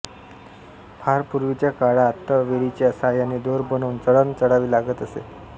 फार पूर्वीच्या काळातवेलींच्या सहाय्याने दोर बनवुन चढण चढावी लागत असे